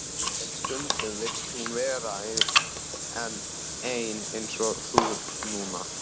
En stundum vill hún vera ein eins og þú núna.